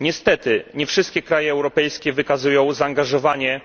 Niestety nie wszystkie kraje europejskie wykazują zaangażowanie